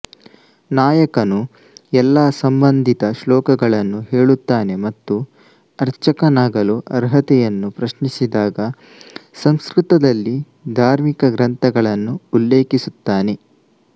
ನಾಯಕನು ಎಲ್ಲಾ ಸಂಬಂಧಿತ ಶ್ಲೋಕಗಳನ್ನು ಹೇಳುತ್ತಾನೆ ಮತ್ತು ಅರ್ಚಕನಾಗಲು ಅರ್ಹತೆಯನ್ನು ಪ್ರಶ್ನಿಸಿದಾಗ ಸಂಸ್ಕೃತದಲ್ಲಿ ಧಾರ್ಮಿಕ ಗ್ರಂಥಗಳನ್ನು ಉಲ್ಲೇಖಿಸುತ್ತಾನೆ